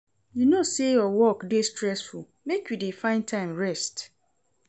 You know sey your work dey stressful, make you dey find time rest.